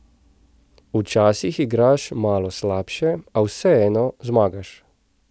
Včasih igraš malo slabše, a vseeno zmagaš.